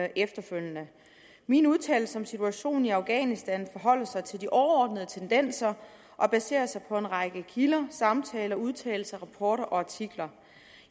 efterfølgende mine udtalelser om situationen i afghanistan forholder sig til de overordnede tendenser og baserer sig på en række kilder samtaler udtalelser rapporter og artikler